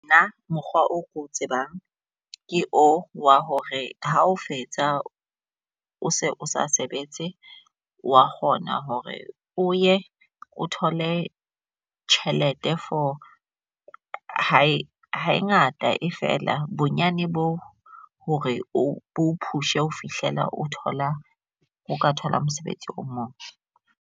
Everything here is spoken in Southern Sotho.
Nna mokgwa o ko tsebang ke o wa hore ha o fetsa, o se sa sebetse, wa kgona hore o ye o thole tjhelete for ha e ha e ngata e fela bonyane bo hore o push-e ho fihlela o thola o ka thola mosebetsi o mong.